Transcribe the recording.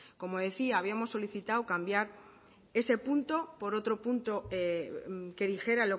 como decía habíamos solicitado cambiar ese punto por otro punto que dijera